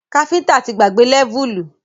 Káfíntà ti gbàgbé lẹ́vùlì